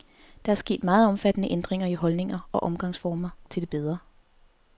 Der er sket meget omfattende ændringer i holdninger og omgangsformer, til det bedre.